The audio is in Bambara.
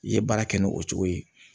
I ye baara kɛ ni o cogo ye